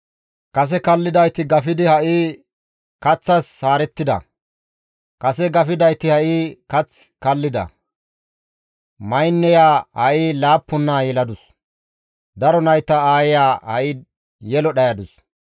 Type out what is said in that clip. Kase kallidayti gafidi ha7i kaththas haarettida; Kase gafidayti ha7i kath kallida; maynneya ha7i laappun naa yeladus; Daro nayta aayeya ha7i yelo dhayadus.